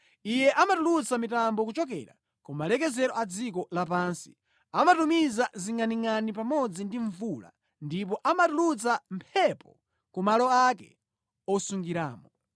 Iye amatulutsa mitambo kuchokera ku malekezero a dziko lapansi, amatumiza zingʼaningʼani pamodzi ndi mvula ndipo amatulutsa mphepo ku malo ake osungiramo.